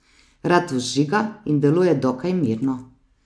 Rad vžiga in deluje dokaj mirno.